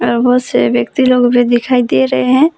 य बहोत से व्यक्ति लोग भी दिखाई दे रहे हैं।